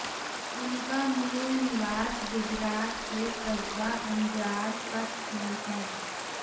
उनका मूल निवास गुजरात के कस्बा अंजार कच्छ में है